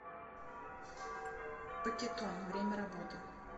пакетон время работы